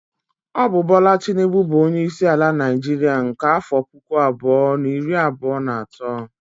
Ọ bụ Bola Tinubu bụ onyeisi ala Naịjiria nke afọ puku abụọ na iri abụọ na atọ